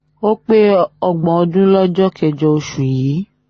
ó pé ọgbọ̀n ọdún lọ́jọ́ kẹjọ oṣù yìí